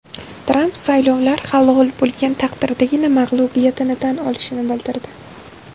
Tramp saylovlar halol bo‘lgan taqdirdagina mag‘lubiyatini tan olishini bildirdi.